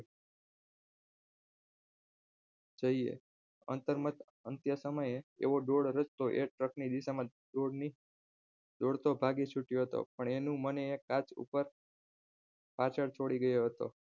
જોઈએ અંતરમત અંત્ય સમયે એવો ગોળ રસ્તો એક ની દિશામાં ભાગી છૂટ્યો હતો પણ એનું મન આ કાચ ઉપર પાછળ છોડી ગયો હતો